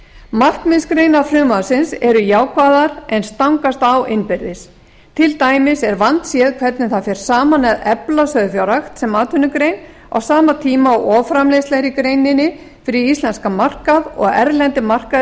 markmiðsgreinar frumvarpsins eru jákvæðar en stangast á innbyrðis til dæmis er vandséð hvernig það er saman að efla sauðfjárrækt sem atvinnugrein á sama tíma og offramleiðsla er í greininni fyrir íslenskan markað og erlendir markaðir